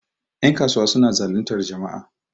yankasuwa suna zalintar jama'a